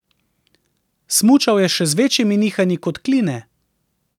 Smučal je še z večjimi nihanji kot Kline.